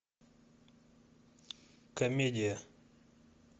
комедия